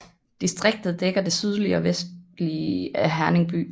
Distriktet dækker det sydlige og vestlige af Herning by